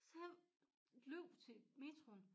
Så jeg løb til metroen